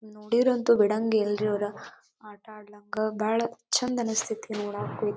ನೋಡಿದ್ರ ಅಂತೂ ಬಿಡಾಂಗೆಲ್ರಿ ಇವರು ಆಟ ಆಡಳಂಗ ಬಾಳ ಚಂದ್ ಅನ್ಸತೈತಿ ನೋಡಾಕು--